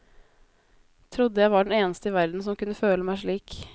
Trodde jeg var den eneste i verden som kunne føle meg slik.